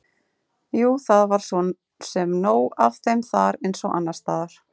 Jú, það var svo sem nóg af þeim þar eins og annars staðar.